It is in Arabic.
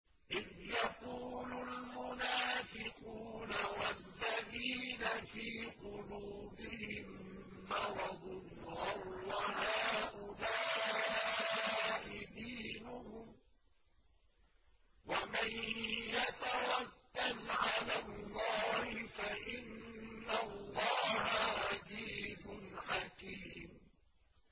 إِذْ يَقُولُ الْمُنَافِقُونَ وَالَّذِينَ فِي قُلُوبِهِم مَّرَضٌ غَرَّ هَٰؤُلَاءِ دِينُهُمْ ۗ وَمَن يَتَوَكَّلْ عَلَى اللَّهِ فَإِنَّ اللَّهَ عَزِيزٌ حَكِيمٌ